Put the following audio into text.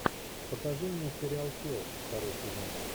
покажи мне сериал флэш второй сезон